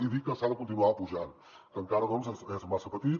i dir que s’ha de continuar apujant que encara doncs és massa petit